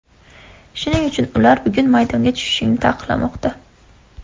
Shuning uchun ular bugun maydonga tushishingni taqiqlamoqda”.